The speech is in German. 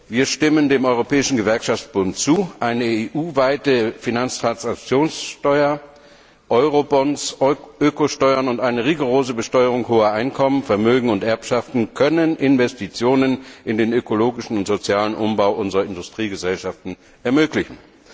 Wir stimmen dem Europäischen Gewerkschaftsbund zu Eine EU weite Finanztransaktionssteuer, Euro Bonds, Ökosteuern und rigorose Besteuerung hoher Einkommen, Vermögen und Erbschaften können Investitionen in den ökologischen und sozialen Umbau unserer Industriegesellschaften ermöglichen.